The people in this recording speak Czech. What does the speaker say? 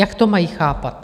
Jak to mají chápat?